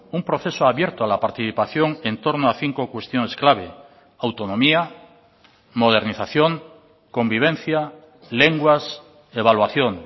un proceso abierto a la participación en torno a cinco cuestiones clave autonomía modernización convivencia lenguas evaluación